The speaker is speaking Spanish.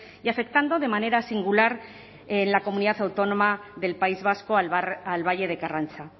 y afectando de manera singular en la comunidad autónoma del país vasco al valle de karrantza